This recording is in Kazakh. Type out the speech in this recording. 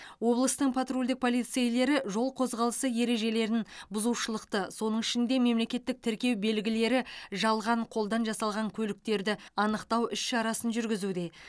облыстың патрульдік полицейлері жол қозғалысы ережелерін бұзушылықты соның ішінде мемлекеттік тіркеу белгілері жалған қолдан жасалған көліктерді анықтау іс шарасын жүргізуде